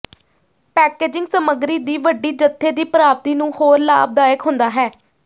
packaging ਸਮੱਗਰੀ ਦੀ ਵੱਡੀ ਜੱਥੇ ਦੀ ਪ੍ਰਾਪਤੀ ਨੂੰ ਹੋਰ ਲਾਭਦਾਇਕ ਹੁੰਦਾ ਹੈ